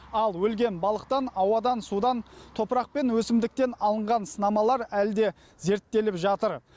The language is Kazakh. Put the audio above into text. ал өлген балықтан ауадан судан топырақ пен өсімдіктен алынған сынамалар әлі де зерттеліп жатыр